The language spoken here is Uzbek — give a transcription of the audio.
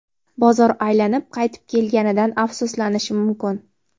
bozor aylanib qaytib kelganidan afsuslanishi mumkin.